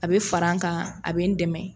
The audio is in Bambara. A bɛ fara n kan a bɛ n dɛmɛ.